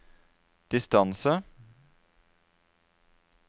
distance